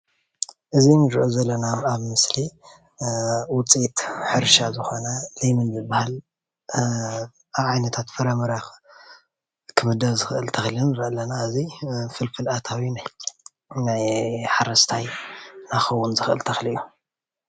እዚ እንሪኦ ዘለና ኣብ ምስሊ ውፂኢት ሕርሻ ዝኾነ ለሚን ዝበሃል ካብ ዓይነታት ፍረምረ ክምደብ ዝኽእል ተኽሊ ንርኢ ኣለና ።እዚ ፍልፍል ኣታዊ ናይ ናይ ሓረስታይ ክኸውን ዝኽእል ተኽሊ እዩ።